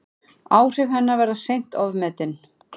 Áhrif hennar verða seint ofmetin.